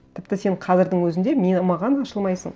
тіпті сен қазірдің өзінде маған ашылмайсың